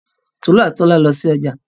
Tolú àti Tọ́lá lọ sí ọjà